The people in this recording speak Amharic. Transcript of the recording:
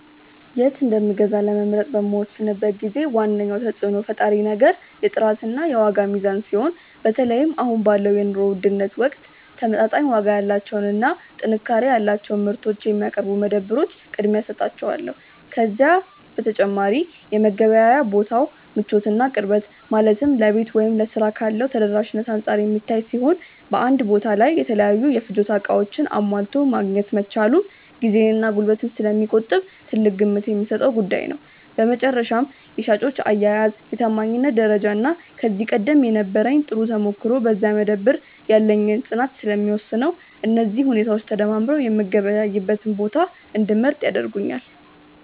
የት እንደምገዛ ለመምረጥ በምወስንበት ጊዜ ዋነኛው ተጽዕኖ ፈጣሪ ነገር የጥራትና የዋጋ ሚዛን ሲሆን፣ በተለይም አሁን ባለው የኑሮ ውድነት ወቅት ተመጣጣኝ ዋጋ ያላቸውንና ጥንካሬ ያላቸውን ምርቶች የሚያቀርቡ መደብሮች ቅድሚያ እሰጣቸዋለሁ። ከዚህ በተጨማሪ የመገበያያ ቦታው ምቾትና ቅርበት፣ ማለትም ለቤት ወይም ለሥራ ቦታ ካለው ተደራሽነት አንጻር የሚታይ ሲሆን፣ በአንድ ቦታ ላይ የተለያዩ የፍጆታ ዕቃዎችን አሟልቶ ማግኘት መቻሉም ጊዜንና ጉልበትን ስለሚቆጥብ ትልቅ ግምት የምሰጠው ጉዳይ ነው። በመጨረሻም የሻጮች አያያዝ፣ የታማኝነት ደረጃና ከዚህ ቀደም የነበረኝ ጥሩ ተሞክሮ በዚያ መደብር ላይ ያለኝን ፅናት ስለሚወስነው፣ እነዚህ ሁኔታዎች ተደማምረው የምገበያይበትን ቦታ እንድመርጥ ያደርጉኛል።